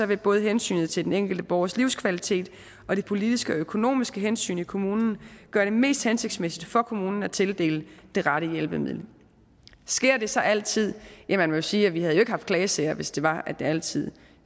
vil både hensynet til den enkelte borgers livskvalitet og det politiske og økonomiske hensyn i kommunen gøre det mest hensigtsmæssigt for kommunen at tildele det rette hjælpemiddel sker det så altid ja man må jo sige at vi ikke havde haft klagesager hvis det var at det altid